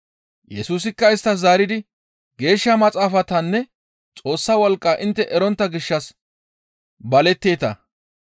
Yesusikka isttas zaaridi, «Geeshsha Maxaafatanne Xoossa wolqqa intte erontta gishshas baletteeta.